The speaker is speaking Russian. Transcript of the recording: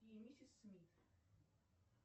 и миссис смит